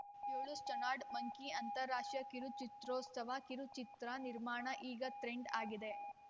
ಏಳು stoned monkey ಅಂತಾರಾಷ್ಟ್ರೀಯ ಕಿರುಚಿತ್ರೋತ್ಸವ ಕಿರುಚಿತ್ರ ನಿರ್ಮಾಣ ಈಗ ಟ್ರೆಂಡ್‌ ಆಗಿದೆ